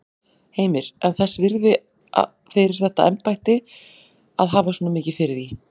Heimir: En þess virði fyrir þetta embætti að hafa svona mikið fyrir því?